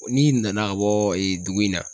N'i nana ka bɔ ee dugu in na